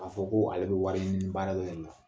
A fɔ koo ale bɛ wariɲini baara dɔ de la